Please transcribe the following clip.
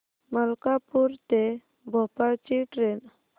मलकापूर ते भोपाळ ची ट्रेन